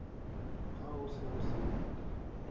ha ho se ho senyehile